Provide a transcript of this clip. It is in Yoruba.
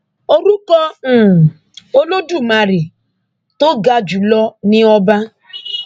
orúkọ um olódùmarè tó ga jù lọ ni ọba